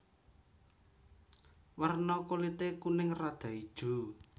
Werna kulité kuning rada ijo